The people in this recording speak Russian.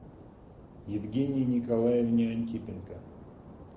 евгении николаевне антипенко